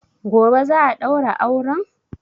Gobe za a ɗaura auren